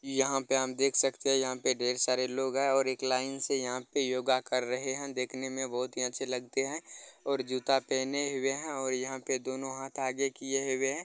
यहाँ पे हम देख सकते हैं यहाँ पे ढेर सारे लोग हैं और एक लाइन से यहाँ पे योग कर रहे हैं दिखने में बहुत ही अच्छे लगते हैं और जूता पहने हुए हैं और यहाँ पे दोनों हाथ आगे किए हुए हैं।